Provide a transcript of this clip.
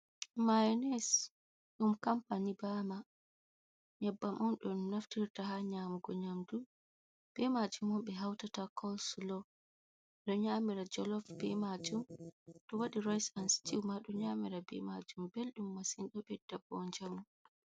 "Mayones" ɗum kampani bama nyebbam on don naftirta ha nyamugo nyamdu be majum mon ɓe hautata coslo ɗo nyamira jolof be majum to wadi rayis an stiw ɗo nyamira be majum ɓelɗum masin ɗo bedda bo njamu.